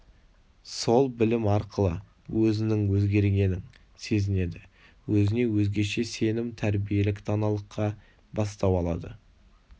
сол білім арқылы өзінің өзгергенін сезінеді өзіне өзгеше сенім тәрбиелік даналыққа бастау алады